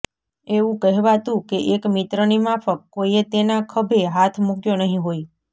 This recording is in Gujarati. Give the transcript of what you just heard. એવું કહેવાતું કે એક મિત્રની માફક કોઈએ તેના ખભે હાથ મૂક્યો નહીં હોય